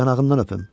O yanağından öpüm.